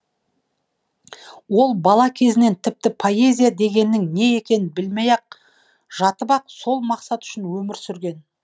ол бала кезінен тіпті поэзия дегеннің не екенін білмей ақ жатып ақ сол мақсат үшін өмір сүрген